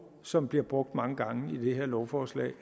som bliver brugt mange gange i det her lovforslag